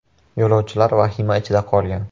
Yo‘lovchilar vahima ichida qolgan.